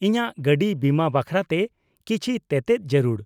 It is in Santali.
ᱼᱤᱧᱟᱜ ᱜᱟᱹᱰᱤ ᱵᱤᱢᱟᱹ ᱵᱟᱠᱷᱨᱟᱛᱮ ᱠᱤᱪᱷᱤ ᱛᱮᱛᱮᱫ ᱡᱟᱹᱨᱩᱲ ᱾